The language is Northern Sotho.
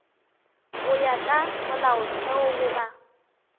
go ya ka molaotheo goba